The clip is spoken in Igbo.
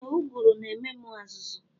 Ee uguru na ememu azuzu.